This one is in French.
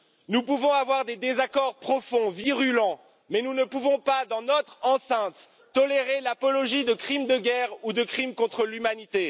Nous pouvons avoir des désaccords profonds, virulents, mais nous ne pouvons pas, dans notre enceinte, tolérer l'apologie de crimes de guerre ou de crimes contre l'humanité.